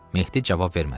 Mehdi cavab vermədi.